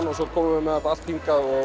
og svo komum við með þetta allt hingað og